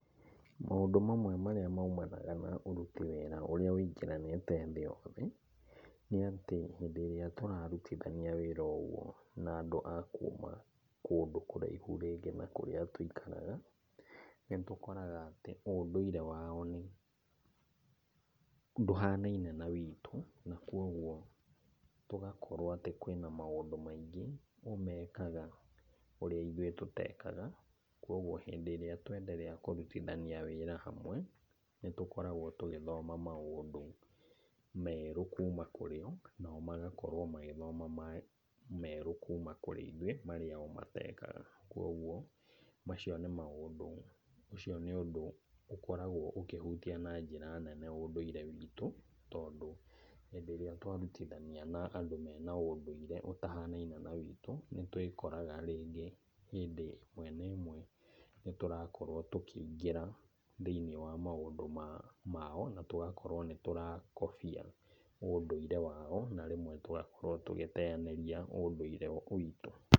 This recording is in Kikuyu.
Maũndũ mamwe marĩa maumanaga na ũruti wĩra ũrĩa ũingĩranĩte thĩ yothe, nĩ atĩ hĩndĩ ĩrĩa tũrarutithania wĩra na andũ a kuma kũndũ kũraihu rĩngĩ na kurĩa tũikaraga nĩ tũkoraga atĩ undũire wao nĩ, ndũhanaine na witũ na koguo tũgakorwo atĩ kwĩ na maũndũ maingĩ o mekaga ũrĩa ithuĩ tutekaga. Koguo hĩndĩ ĩrĩa tuenderea kũrutithania wĩra hamwe nĩ tũgĩkoragwo tũgĩthoma maũndũ merũ kuma kũrĩ o nao magagĩkorwo magĩthoma merũ kuma kũrĩ ithuĩ marĩo o matekaga. Koguo macio mĩ maũndũ, ũcio nĩ ũndũ ũkoragwo ũkĩhutia na njĩra nene ũndũire witũ, tondũ hĩndĩ ĩrĩa twarutithania na andũ mena ũndũire ũtahanaine na witũ, nĩ tũĩkoraga rĩngĩ hĩndĩ ĩmwe na ĩmwe nĩtũrakorwo tũkĩingĩra thĩiniĩ wa maũndũ mao na tũgakorwo nĩ tũrakobia ũndũire wao na rĩmwe tũgakorwo tũgĩteanĩria ũndũire witũ.